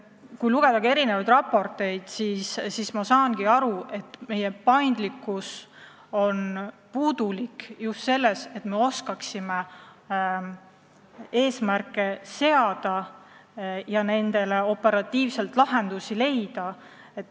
Kui lugeda erinevaid raporteid, siis võime aru saada, et meil jääb paindlikkusest puudu just oskuses eesmärke seada ja neid operatiivselt ellu viia.